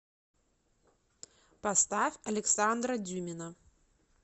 поставь александра дюмина